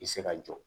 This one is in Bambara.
I se ka jɔ